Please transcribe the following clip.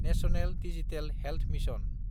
national digital health mission